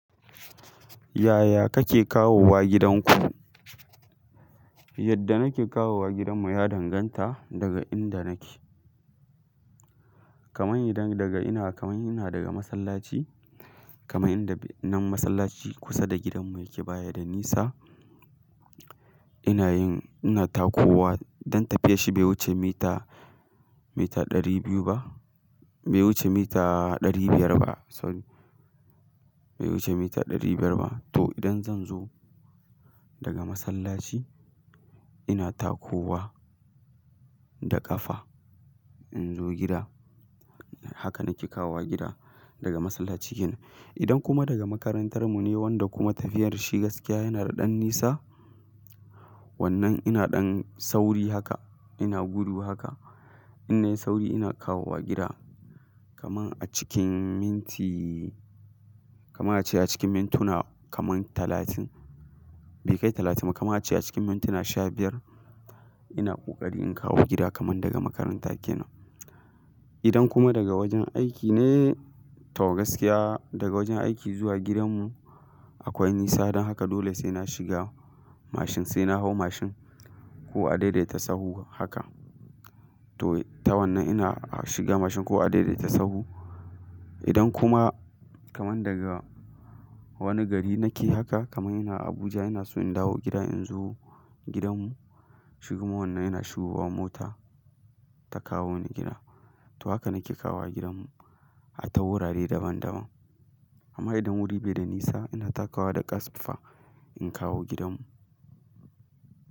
Yaya kake kawowa gidanku? Yadda nake kawowa gidanmu ya danganta daga inda nake. Kaman idan daga ina, kaman ina daga masallaci, kamar inda nan masallaci kusa da gidanmu yake baya da nisa. Ina yin, ina takowa don tafiyar shi bai wuce mita, mita ɗari biyu ba, bai wuce mita ɗari biyar ba, sorry. Bai wuce mita ɗari biyar ba. To idan zan zo daga masallaci, ina takowa da ƙafa in zo gida. Haka nake kawowa gida daga masallaci kenan. Idan kuma daga makarantar mu ne wanda kuma tafiyar shi gaskiya yana da ɗan nisa, wannan ina ɗan sauri haka, ina gudu haka. Inna yi sauri ina kawowa gida. Kaman a cikin minti, kama a ce a cikin mintuna kaman talatin, bai kai talatin ba, kama a ce a cikin mintuna sha biyar ina ƙoƙari in kawo gida kaman daga makaranta kenan. Idan kuma daga wajen aiki ne, to gaskiya daga wajen aiki zuwa gidanmu akwai nisa don haka dole sai na shiga mashin, sai na hau mashin ko a daidaita sabo haka. To, ta wannan ina shiga mashin ko a daidaita sabo. Idan kuma kaman daga wani gari nake haka, kamar ina Abuja ina so in dawo gida in zo gidanmu shikuma wannan ina shigowa mota ta kawo ni gida. To haka nake kawowa gidanmu a tawurare daban daban. Amma idan wuri bai da nisa ina takawa da ƙasfa in kawo gidanmu.